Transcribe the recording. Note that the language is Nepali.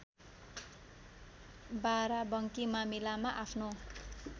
बाराबंकी मामिलामा आफ्नो